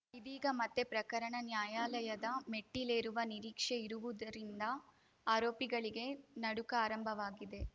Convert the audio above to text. ಇದೀಗ ಮತ್ತೆ ಪ್ರಕರಣ ನ್ಯಾಯಾಲಯದ ಮೆಟ್ಟಿಲೇರುವ ನಿರೀಕ್ಷೆ ಇರುವುದರಿಂದ ಆರೋಪಿಗಳಿಗೆ ನಡುಕ ಆರಂಭವಾಗಿದೆ